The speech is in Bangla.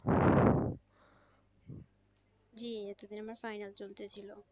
জি এতদিন আমার final চলতেছিল।